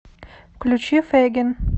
включи фейгин